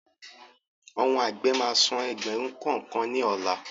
Àwọn àgbẹ̀ máa san ẹgbẹ̀rún kọ̀ọ̀kan ni ọ̀la